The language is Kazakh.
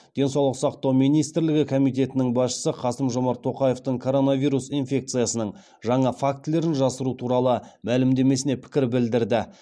денсаулық сақтау министрлігі комитетінің басшысы қасым жомарт тоқаевтың коронавирус инфекциясының жаңа фактілерін жасыру туралы мәлімдемесіне пікір білдірді